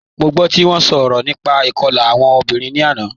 Mo gbọ ti wọn sọrọ nípà ikọ̀la awọn ọmọ̀bìrín ni àná